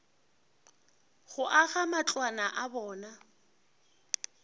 go aga matlwana a bona